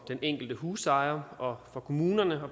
den enkelte husejer og for kommunerne